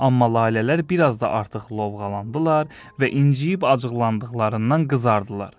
Amma lalələr bir az da artıq lovğalandılar və incəyib acıqlandıqlarından qızardılar.